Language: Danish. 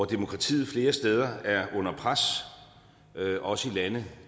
demokratiet flere steder er under pres også i lande